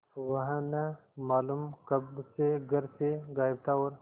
वह न मालूम कब से घर से गायब था और